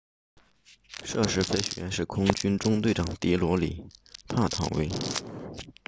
涉事飞行员是空军中队长迪罗里帕塔维 dilokrit pattavee